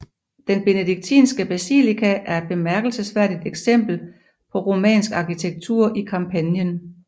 Den benediktinske basilika er et bemærkelsesværdigt eksempel på romansk arkitektur i Campanien